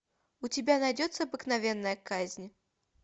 у тебя найдется обыкновенная казнь